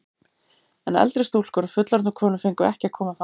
En eldri stúlkur og fullorðnar konur fengu ekki að koma þangað.